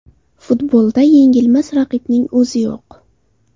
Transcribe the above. Futbolda yengilmas raqibning o‘zi yo‘q.